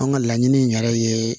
An ka laɲini in yɛrɛ ye